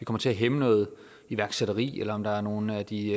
kommer til at hæmme noget iværksætteri eller om der er nogen af de